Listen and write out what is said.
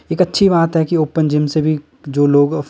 एक अच्छी बात है कि ओपन जिम से भी जो लोग--